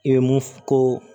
I bɛ mun ko